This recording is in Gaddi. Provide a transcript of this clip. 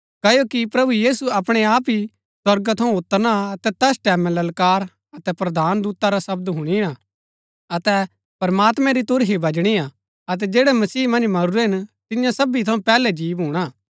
क्ओकि प्रभु यीशु अपणै आप ही स्वर्गा थऊँ उतरना अतै तैस टैमैं ललकार अतै प्रधान दूता रा शब्द हुणीना अतै प्रमात्मैं री तुरही बजणी हा अतै जैड़ै मसीह मन्ज मरूरै हिन तियां सबी थऊँ पैहलै जी भूणा